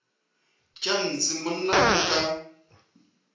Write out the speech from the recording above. tša ntshe monna o ka